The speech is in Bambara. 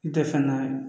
I tɛ fɛn dɔ ye